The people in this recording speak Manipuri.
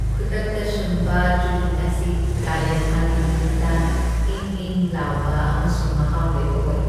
ꯈꯨꯗꯛꯇ ꯁꯨꯝꯕ ꯆꯨꯍꯤꯡ ꯑꯁꯤ ꯀꯥꯂꯦꯟꯊꯥꯒꯤ ꯅꯨꯃꯤꯠꯇ ꯏꯪꯏꯪ ꯂꯥꯎꯕ ꯑꯃꯁꯨꯡ ꯃꯍꯥꯎ ꯂꯩꯕ ꯑꯣꯏ ꯫